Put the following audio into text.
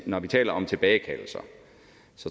når vi taler om tilbagekaldelser